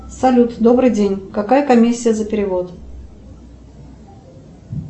салют добрый день какая комиссия за перевод